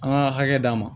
An ka hakɛ d'a ma